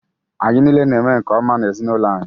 Anyị niile na-eme nke-ọma n’ezinụlọ anyị